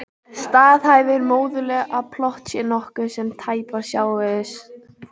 Staðhæfir móðurleg að plott sé nokkuð sem tæpast sjáist fyrir í atburðarás.